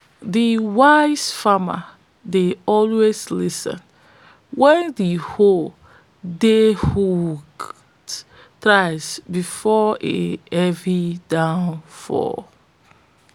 de wise farmer dey always lis ten s wen de owl dey hoots thrice before a heavy downpour